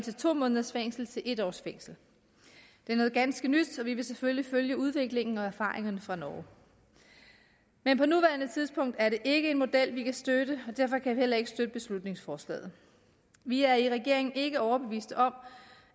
to måneders fængsel til en års fængsel det er noget ganske nyt og vi vil selvfølgelig følge udviklingen og erfaringerne fra norge men på nuværende tidspunkt er det ikke en model vi kan støtte og derfor kan vi heller ikke støtte beslutningsforslaget vi er i regeringen ikke overbevist om